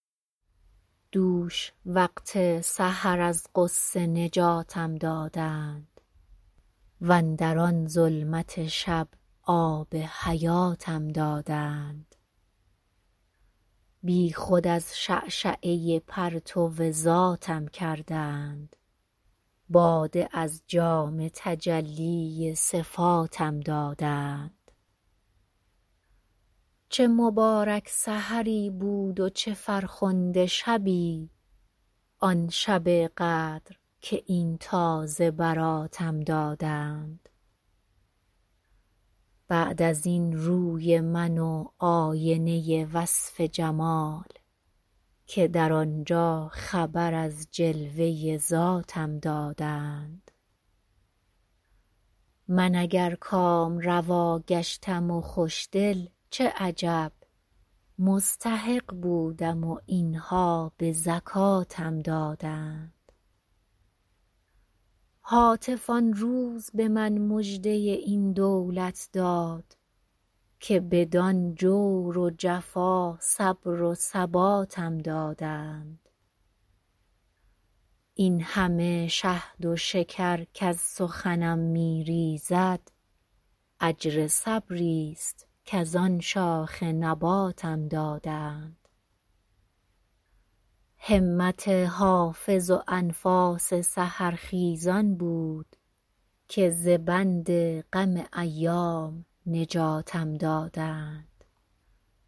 دوش وقت سحر از غصه نجاتم دادند واندر آن ظلمت شب آب حیاتم دادند بی خود از شعشعه پرتو ذاتم کردند باده از جام تجلی صفاتم دادند چه مبارک سحری بود و چه فرخنده شبی آن شب قدر که این تازه براتم دادند بعد از این روی من و آینه وصف جمال که در آن جا خبر از جلوه ذاتم دادند من اگر کامروا گشتم و خوش دل چه عجب مستحق بودم و این ها به زکاتم دادند هاتف آن روز به من مژده این دولت داد که بدان جور و جفا صبر و ثباتم دادند این همه شهد و شکر کز سخنم می ریزد اجر صبری ست کز آن شاخ نباتم دادند همت حافظ و انفاس سحرخیزان بود که ز بند غم ایام نجاتم دادند